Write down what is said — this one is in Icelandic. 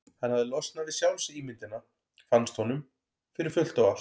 Hann hafði losnað við sjálfsímyndina, fannst honum, fyrir fullt og allt.